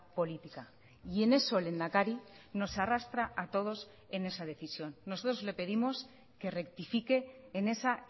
política y en eso lehendakari nos arrastra a todos en esa decisión nosotros le pedimos que rectifique en esa